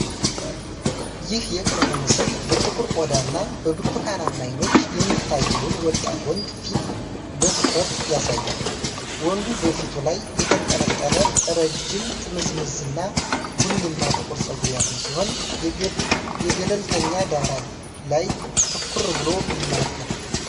ይህ የቅርብ ምስል በጥቁር ቆዳ እና በብርቱካናማ አይኖች የሚታየውን ወጣት ወንድ ፊት በትኩረት ያሳያል። ወንዱ በፊቱ ላይ የተንጠለጠለ ረጅም፣ ጥምዝምዝ እና ቡኒማ ጥቁር ፀጉር ያለው ሲሆን፣ የገለልተኛ ዳራ ላይ ትኩር ብሎ ይመለከታል።